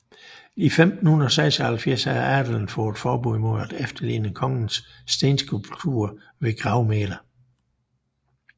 I 1576 havde adelen fået forbud mod at efterligne kongens stenskulpturer ved gravmæler